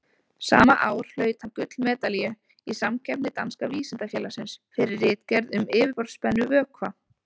Sama ár hlaut hann gullmedalíu í samkeppni Danska vísindafélagsins, fyrir ritgerð um yfirborðsspennu vökva.